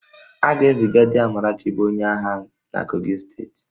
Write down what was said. A ga-eziga di Amarachi bụ onye agha na Kogi steeti